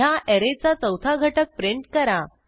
ह्या ऍरेचा चौथा घटक प्रिंट करा